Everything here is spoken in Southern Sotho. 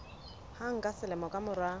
hang ka selemo ka mora